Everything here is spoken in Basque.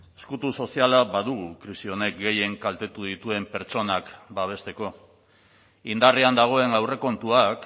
ezkutu soziala badugu krisi honek gehien kaltetu dituen pertsonak babesteko indarrean dagoen aurrekontuak